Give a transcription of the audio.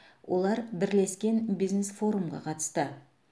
олар бірлескен бизнес форумға қатысты